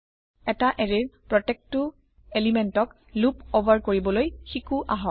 এটা এৰেয়ৰ প্ৰত্যেকটো পদাৰ্থক লুপ অভাৰ কৰিবলৈ শিকো আহক